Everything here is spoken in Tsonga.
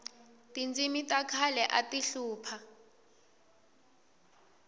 tindzimi ta khale ati hlupha